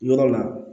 Yɔrɔ la